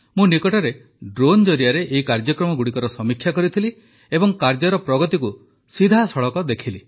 ମୁଁ ନିକଟରେ ଡ୍ରୋନ ଜରିଆରେ ଏହି କାର୍ଯ୍ୟଗୁଡ଼ିକର ସମୀକ୍ଷା କରିଥିଲି ଏବଂ କାର୍ଯ୍ୟର ପ୍ରଗତିକୁ ସିଧାସଳଖ ଦେଖିଲି